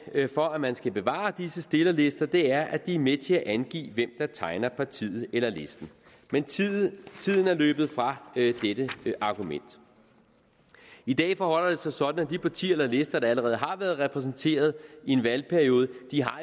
for at man skal bevare disse stillerlister er at de er med til at angive hvem der tegner partiet eller listen men tiden er løbet fra dette argument i dag forholder det sig sådan at de partier og lister der allerede har været repræsenteret i en valgperiode